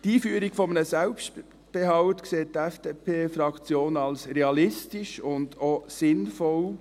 Die Einführung eines Selbstbehalts sieht die FDP-Fraktion als realistisch und auch sinnvoll.